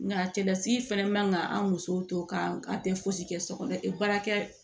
Nka cɛlasigi fɛnɛ man ka an musow to k'an tɛ fosi kɛ so kɔnɔ baarakɛ